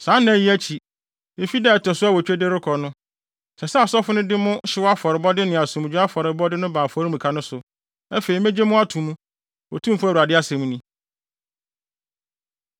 Saa nna yi akyi, efi da a ɛto so awotwe de rekɔ no, ɛsɛ sɛ asɔfo no de mo hyew afɔrebɔde ne asomdwoe afɔrebɔde no ba afɔremuka no so. Afei megye mo ato mu, Otumfo Awurade asɛm ni.”